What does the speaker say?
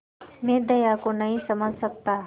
मैं दया को नहीं समझ सकता